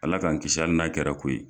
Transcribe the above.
Ala k'an kisi hali n'a kɛra ko ye.